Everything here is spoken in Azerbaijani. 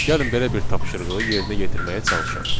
Gəlin belə bir tapşırığı yerinə yetirməyə çalışaq.